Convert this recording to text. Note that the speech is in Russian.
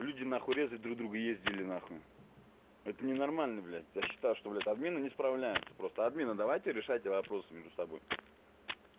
люди нахуй резать друг друга ездили на хуй это ненормально блядь я считаю что в админы не справляются просто админы давайте решайте вопросы между собой